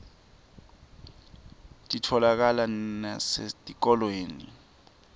titfolakala nasetikolweni